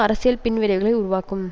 அரசியல் பின் விளைவுகளை உருவாக்கும்